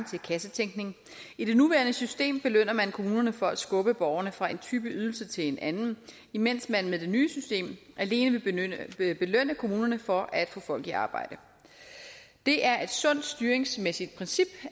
til kassetænkning i det nuværende system belønner man kommunerne for at skubbe borgerne fra en type ydelse til en anden imens man med det nye system alene vil belønne kommunerne for at få folk i arbejde det er et sundt styringsmæssigt princip